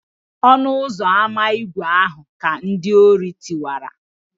ọnu-uzọ-ama ígwè ahu ka ndi-ori tiwara